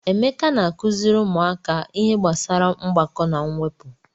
Emeka na-akụziri ụmụaka ihe gbasara mgbakọ na mwepụ.